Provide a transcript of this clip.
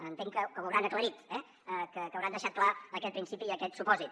entenc que ho hauran aclarit que hauran deixat clar aquest principi i aquest supòsit